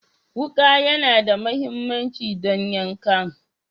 Wuka yAna da mahimmanci don yankan